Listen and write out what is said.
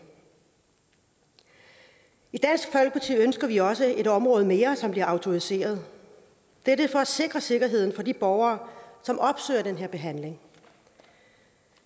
i i dansk folkeparti ønsker vi også at et område mere bliver autoriseret for at sikre sikkerheden for de borgere som opsøger den her behandling